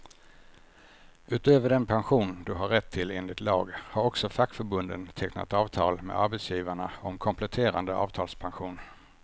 Utöver den pension du har rätt till enligt lag, har också fackförbunden tecknat avtal med arbetsgivarna om kompletterande avtalspension.